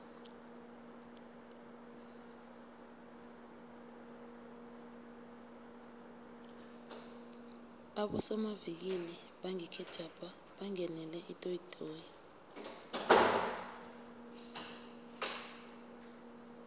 abosomavikili bangekhethwapha bangenele itoyitoyi